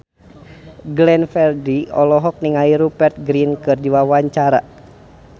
Glenn Fredly olohok ningali Rupert Grin keur diwawancara